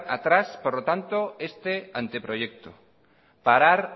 atrás este anteproyecto parar